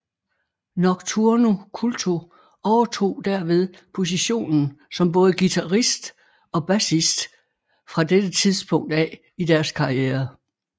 Nocturno Culto overtog derved positionen som både guitarist og bassist fra dette tidspunkt af i deres karriere